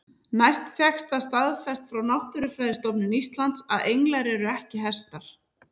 Næst fékkst það staðfest hjá Náttúrufræðistofnun Íslands að englar eru ekki hestar.